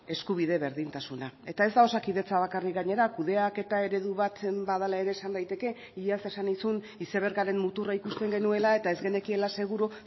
eskubide berdintasuna eta ez da osakidetza bakarrik gainera kudeaketa eredu bat badela ere esan daiteke iaz esan nizun izebergaren muturra ikusten genuela eta ez genekiela seguru